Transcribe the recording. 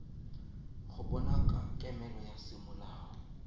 go bona kemelo ya semolao